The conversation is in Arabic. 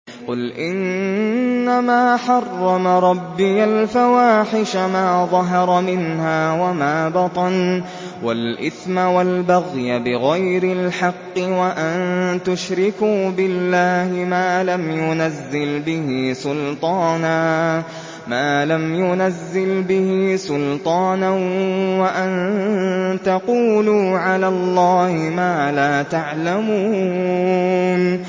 قُلْ إِنَّمَا حَرَّمَ رَبِّيَ الْفَوَاحِشَ مَا ظَهَرَ مِنْهَا وَمَا بَطَنَ وَالْإِثْمَ وَالْبَغْيَ بِغَيْرِ الْحَقِّ وَأَن تُشْرِكُوا بِاللَّهِ مَا لَمْ يُنَزِّلْ بِهِ سُلْطَانًا وَأَن تَقُولُوا عَلَى اللَّهِ مَا لَا تَعْلَمُونَ